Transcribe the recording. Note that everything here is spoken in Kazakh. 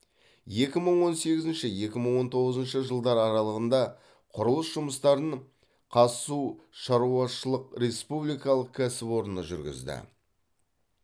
екі мың он сегізінші екі мың он тоғызыншы жылдар аралығында құрылыс жұмыстарын қазсу шаруашышылық республикалық кәсіпорны жүргізді